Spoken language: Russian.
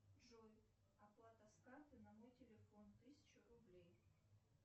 джой оплата с карты на мой телефон тысяча рублей